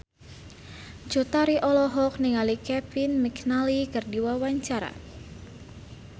Cut Tari olohok ningali Kevin McNally keur diwawancara